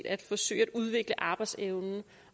at forsøge at udvikle arbejdsevnen